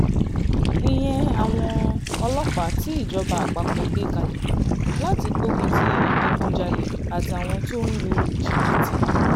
ìyẹn àwọn ọlọ́pàá tí ìjọba àpapọ̀ gbé kalẹ̀ láti gbógun ti ìdígunjalè àtàwọn tó ń lu jìbìtì